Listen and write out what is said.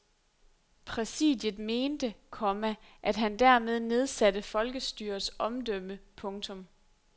Præsidiet mente, komma at han dermed nedsatte folkestyrets omdømme. punktum